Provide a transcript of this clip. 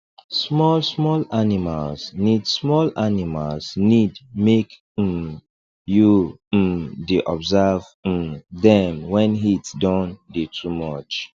small small animals need small animals need make um you um dey observe um dem wen heat don dey too much